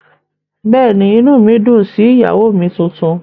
Bẹ́ẹ̀ ni, inú mi dùn sí ìyàwó mi tuntun